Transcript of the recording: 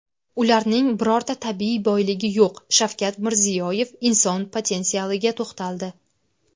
ularning birorta tabiiy boyligi yo‘q – Shavkat Mirziyoyev inson potensialiga to‘xtaldi.